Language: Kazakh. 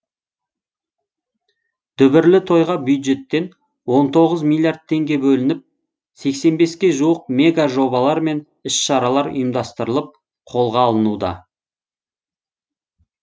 дүбірлі тойға бюджеттен он тоғыз миллиард теңге бөлініп сексен беске жуық мега жобалар мен іс шаралар ұйымдастырылып қолға алынуда